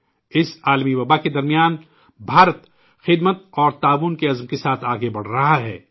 اس عالمی وباء کے درمیان ہندوستان ، 'خدمت اور تعاون' کے عزم کے ساتھ آگے بڑھ رہا ہے